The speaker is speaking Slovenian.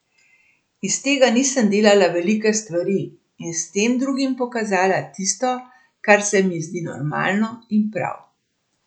Iz tega nisem delala velike stvari in s tem drugim pokazala tisto, kar se mi zdi normalno in prav.